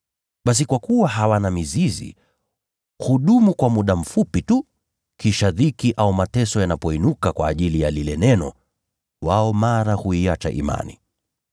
Lakini kwa kuwa hawana mizizi, wao hudumu kwa muda mfupi tu. Kisha dhiki au mateso yanapoinuka kwa ajili ya lile neno, mara wao huiacha imani.